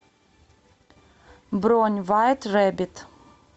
бронь вайт рэбит